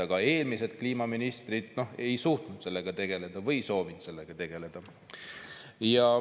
Aga eelmised kliimaministrid ei suutnud või ei soovinud sellega tegeleda.